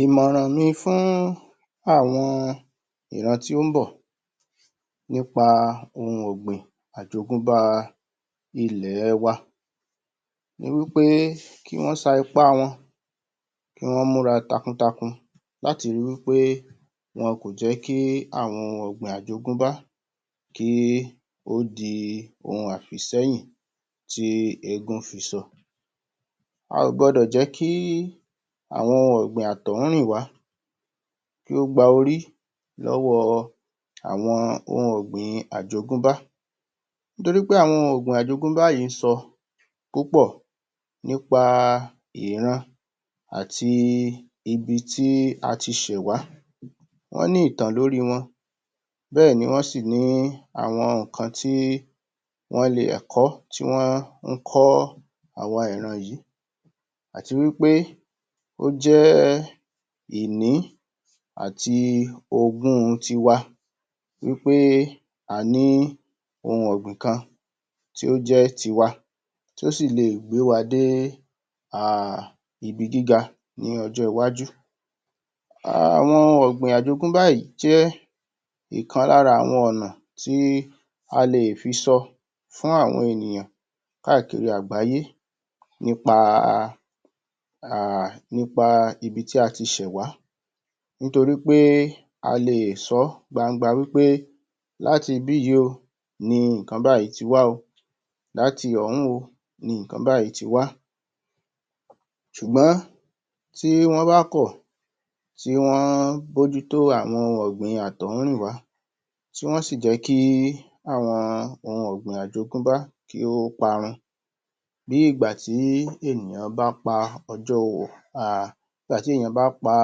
Ìmọ̀ràn mi fún àwọn ìran tí ó ń bọ̀ nípa ohun ọ̀gbìn àjogúnbá ilẹ̀ wa ni wí pé kí wọ́n sa ipá wọn kí wọ́n múra takuntakun láti ri wí pé wọn kò jẹ́ kí àwọn ohun ọ̀gbìn àjogúnbá kí ó di ohun àfìsẹ́yiln tí éégún fiṣọ a ò gbọdọ̀ jẹ́ kí àwọn ohun ọ̀gbìn àtọ̀húnrìnwá kí ó gba orí lọ́wọ́ àwọn ohun ọ̀gbìn àjogúnbá nítorí pé àwọn ohun ọ̀gbìn ajógúnbá yìí sọ púpọ̀ nípa ìran àti ibi tí a ti ṣẹ̀ wá wọ́n ní ìtàn lórí wọn, bẹ́ẹ̀ ni wọ́n sì ní àwọn nǹkan tí wọ́n lè... ẹ̀kọ́ tí wọ́n ń kọ́ àwa ìran yìí àti wí pé ó jẹ́ ìní àti ogún tiwa wí pé a ní ohun ọ̀gbìn kan tí ó jẹ́ tiwa tí ó sì lè gbé wa dé ibi gíga ní ọjọ́ iwájú Àwọn ohun ọ̀gbìn àjogúnbá yìí jẹ́ ọ̀kan lára àwọn ọ̀nà tí a lè fi sọ fún àwọn ènìyàn káàkiri àgbáyé nípa...um...nípa ibi tí a ti ṣẹ̀ wá nítorí pé a lè sọ́ gbangba wí pé láti ibí yìí o ni nǹkan báyìí ti wá o, láti ọ̀hún o ni nǹkan báyìí ti wá ṣùgbọ́n tí wọ́n bá kọ̀, tí wọ́n mó jú tó àwọn ohun ọ̀gbìn àtọ̀húnrìnwá tí wọ́n sì jẹ́ kí àwọn ohun ọ̀gbìn àjogúnbá kí ó parun Bí ìgbà tí ènìyàn bá pa...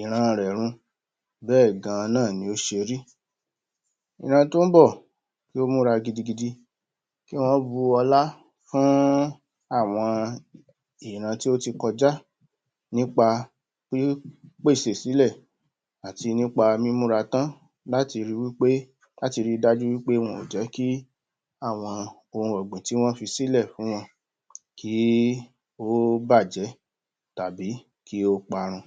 ìran rẹ̀ run bẹ́ẹ̀ gan an náà ló ṣe rí ìran tí ó ń bọ̀ kí ó múra gidigidi kí wọ́n bu ọlá fún àwọn ìran tí ó ti kọjá nípa pípèsè sílẹ̀ àti nípa mímúra tán láti ri dájú wí pé wọn ò jẹ́ kí àwọn ohun ọ̀gbìn tí wọ́n fi sílẹ̀ fún wọn kí ó bàjẹ́ tàbí kí ó parun